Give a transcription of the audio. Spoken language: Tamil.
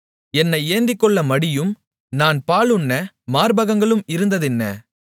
என்னை ஏந்திக்கொள்ள மடியும் நான் பாலுண்ண மார்பகங்களும் இருந்ததென்ன